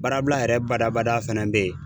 Baarabila yɛrɛ badabada fɛnɛ be yen.